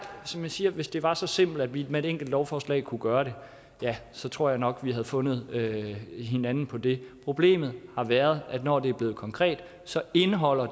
som jeg siger hvis det var så simpelt at vi med et enkelt lovforslag kunne gøre det ja så tror jeg nok at vi havde fundet hinanden på det problemet har været at når det bliver konkret indeholder